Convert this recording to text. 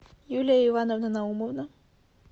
юлия ивановна наумова